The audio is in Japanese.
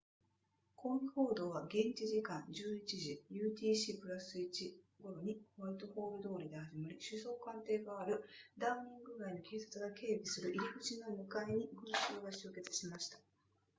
抗議行動は現地時間 11:00utc+1 頃にホワイトホール通りで始まり首相官邸があるダウニング街の警察が警備する入口の向かいに群衆が集結しました